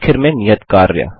आखिर में नियत कार्य